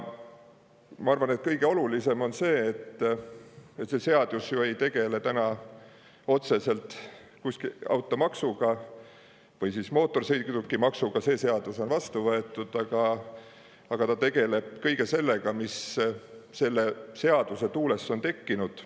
Ma arvan, et kõige olulisem on seda, et see ju ei tegele otseselt mootorsõidukimaksuga – see seadus on vastu võetud –, aga tegeleb kõige sellega, mis selle seaduse tuules on tekkinud.